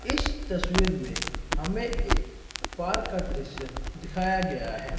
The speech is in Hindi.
इस तस्वीर में हमें एक पार्क का दृश्य दिखाया गया है।